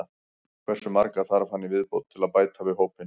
Hversu marga þarf hann í viðbót til að bæta við hópinn?